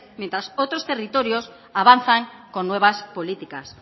mientras otros territorios avanzan con nuevas políticas